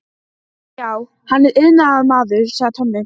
Já, hann er iðnaðarmaður, sagði Tommi.